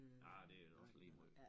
Ah det er også lige måj